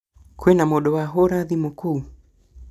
Kwĩna mũndũ wahũra thimũ kũu?